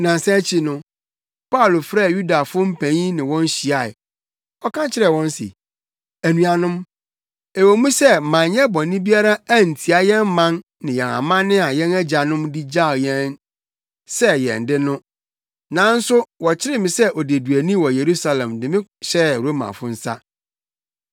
Nnansa akyi no, Paulo frɛɛ Yudafo mpanyin ne wɔn hyiae. Ɔka kyerɛɛ wɔn se, “Anuanom, ɛwɔ mu sɛ manyɛ bɔne biara antia yɛn man ne yɛn amanne a yɛn agyanom de gyaw sɛ yɛn no de, nanso wɔkyeree me sɛ odeduani wɔ Yerusalem de me hyɛɛ Romafo nsa.